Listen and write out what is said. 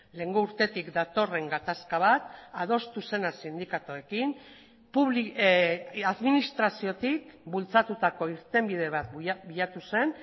lehengo urtetik datorren gatazka bat adostu zena sindikatuekin administraziotik bultzatutako irtenbide bat bilatu zen